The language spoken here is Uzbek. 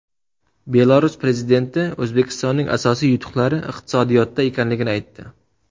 Belarus prezidenti O‘zbekistonning asosiy yutuqlari iqtisodiyotda ekanligini aytdi.